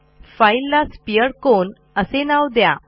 फाईलला sphere cone असे नाव द्या